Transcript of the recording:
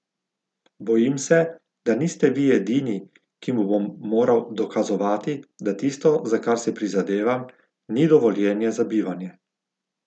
Bojim se, da niste Vi edini, ki mu bom moral dokazovati, da tisto, za kar si prizadevam, ni dovoljenje za bivanje.